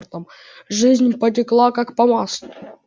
жизнь потекла как по маслу